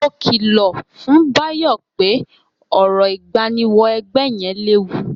Mo kìlọ̀ fún Báyọ̀ pé orò ìgbáníwọ-ẹgbẹ́ yẹn léwu.